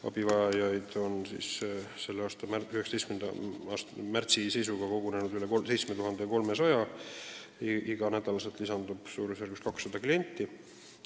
Abivajajaid oli selle aasta 19. märtsi seisuga kogunenud üle 7300, iga nädal lisandub umbes 200 klienti.